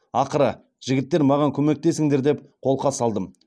ақыры жігіттер маған көмектесіңдер деп қолқа салдым